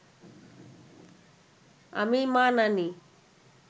আমি মা নানি